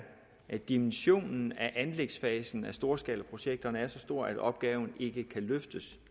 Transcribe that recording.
at dimensionen af anlægsfasen af storskalaprojekterne er så stor at opgaven ikke kan løftes